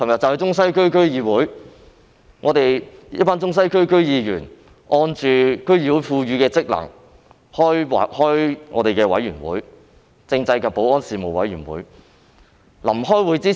昨天，一群中西區區議員按照區議會賦予的職能召開政制及保安事務委員會會議。